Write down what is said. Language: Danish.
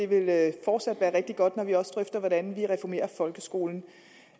vil være rigtig godt når vi også drøfter hvordan vi reformerer folkeskolen